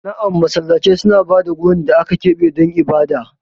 Na'am, Masallatai suna ba da wurin da aka keɓe don ibada.